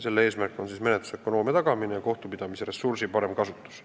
Eesmärk on menetlusökonoomia tagamine ja kohtupidamise ressursi parem kasutus.